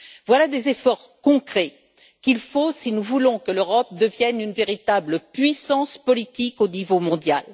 Voilà des efforts concrets qu'il faut, si nous voulons que l'Europe devienne une véritable puissance politique au niveau mondial.